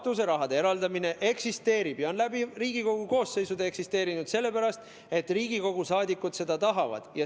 Katuseraha eraldamine eksisteerib ja on läbi Riigikogu koosseisude eksisteerinud sellepärast, et Riigikogu liikmed seda tahavad.